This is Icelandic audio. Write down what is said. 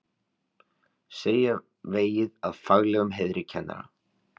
Segja vegið að faglegum heiðri kennara